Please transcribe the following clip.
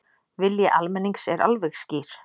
Vilji almennings er alveg skýr